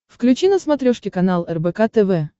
включи на смотрешке канал рбк тв